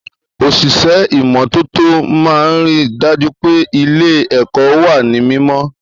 Òṣìṣẹ́ ìmọ́tótó máa ríi dájú pé ilé èkọ́ wa ní mímọ́